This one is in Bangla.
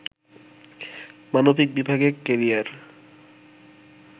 মানবিক বিভাগে ক্যারিয়ার